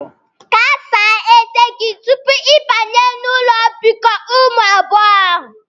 Gaa sáá ezé gi tupu i banye n'ụlọ mbikọ ụmụ agbọghọ